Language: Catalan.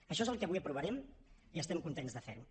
això és el que avui aprovarem i estem contents de fer ho